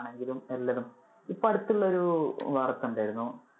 ഇപ്പൊ അടുത്തുള്ള ഒരു വാർത്ത ഉണ്ടായിരുന്നു.